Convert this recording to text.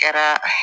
Kɛra